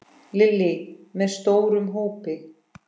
Lillý: Með stórum hópi?